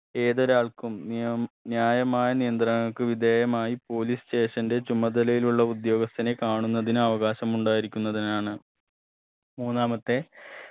ഏതൊരാൾക്കും നിയം ന്യായമായ നിയന്ത്രണങ്ങൾക് വിധേയമായി police station ന്റെ ചുമതലയിലുള്ള ഉദ്യോഗസ്ഥനെ കാണുന്നതിന് അവകാശം ഉണ്ടായിരിക്കുന്നതിനാണ് മൂന്നാമത്തെ